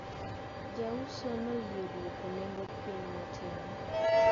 Jauso noyie duoko nengo piny matin.